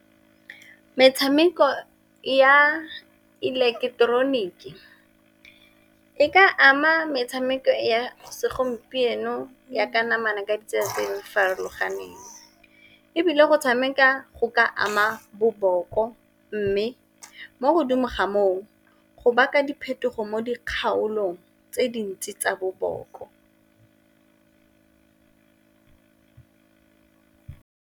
Metshameko ya ileketeroniki e ka ama metshameko ya segompieno ya ka namana ka ditsaleng farologaneng, ebile go tshameka go ka ama boboko, mme mo godimo ga moo go baka diphetogo mo dikgaolong tse dintsi tsa boboko.